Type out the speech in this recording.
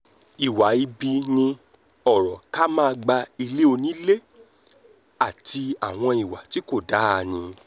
ìwà ibi ni ọ̀rọ̀ ká máa gba ilé onílé àti àwọn ìwà tí kò dáa mi-ín